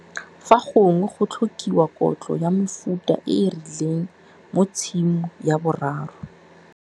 Fa gongwe go tlhokiwa kotlo ya mefuta e e rileng mo Tshimo ya 3.